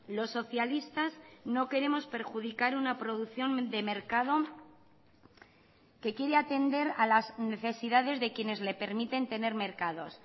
los socialistas no queremos perjudicar una producción de mercado que quiere atender a las necesidades de quienes le permiten tener mercados